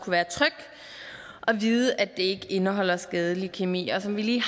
være tryg og vide at det ikke indeholder skadelig kemi og som vi lige